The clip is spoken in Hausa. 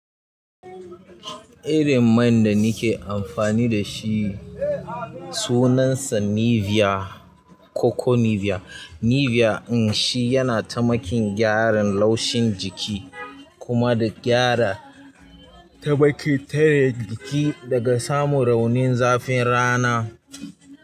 Irin man da nike amfani da shi sunansa Nivea Coco Nivea. Nivea in shi yana taimakin gyaran laushin jiki kuma da gyara ta bakiteriyar jiki daga samun raunin zafin rana.